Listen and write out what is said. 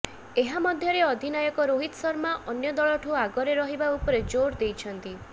ଏହାମଧ୍ୟରେ ଅଧିନାୟକ ରୋହିତ ଶର୍ମା ଅନ୍ୟ ଦଳଠୁ ଆଗରେ ରହିବା ଉପରେ ଜୋର୍ ଦେଇଛନ୍ତି